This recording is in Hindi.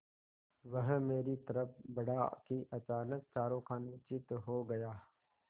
वह मेरी तरफ़ बढ़ा कि अचानक चारों खाने चित्त हो गया